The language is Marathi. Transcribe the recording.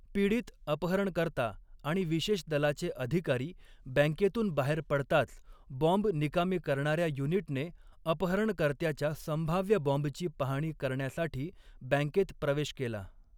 पीडित, अपहरणकर्ता आणि विशेष दलाचे अधिकारी बँकेतून बाहेर पडताच, बॉम्ब निकामी करणाऱ्या युनिटने अपहरणकर्त्याच्या संभाव्य बॉम्बची पाहणी करण्यासाठी बँकेत प्रवेश केला.